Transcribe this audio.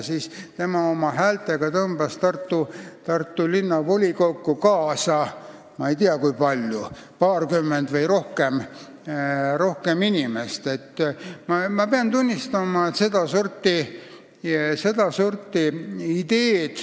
Ansip oma häältega tõmbas Tartu Linnavolikokku kaasa paarkümmend või rohkem inimest, ma ei tea täpselt, kui palju.